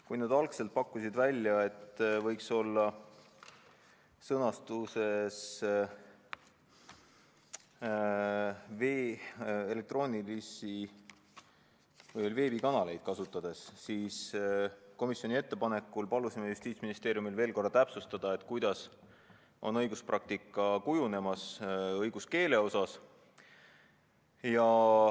Kui nad algselt pakkusid välja, et see võiks olla sõnastuses "elektroonilisi või veebikanaleid kasutades", siis komisjoni ettepanekul palusime Justiitsministeeriumil veel korra täpsustada, missugune praktika õiguskeeles on kujunemas.